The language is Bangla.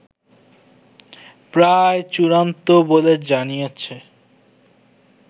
প্রায় চূড়ান্ত বলে জানিয়েছে